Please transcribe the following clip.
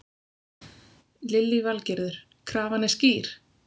Lillý Valgerður: Krafan er skýr?